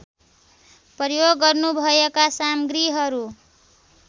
प्रयोग गर्नुभएका सामग्रीहरू